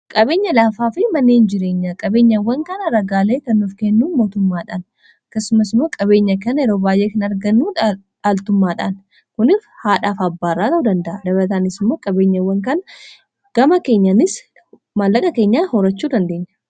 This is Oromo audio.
qabeenya laafaa fi manneen jireenya, qabeenyawwan kana ragaalee kan nuuf kennuu mootummaadhaan akkasumas immoo qabeenya kan yeroo baayyee kan argannu dhaaltummaadhaan kunishaadhaaf abbaaraa ta'uu anda'a. dabataanis immoo qabeenyawwan kan gama keenyanis mallaqa keenyaan horachuu dandeenya.